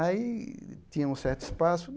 Aí tinha um certo espaço.